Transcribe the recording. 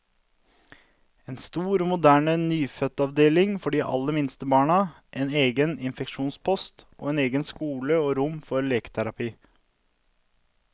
En stor og moderne nyfødtavdeling for de aller minste barna, en egen infeksjonspost, og egen skole og rom for leketerapi.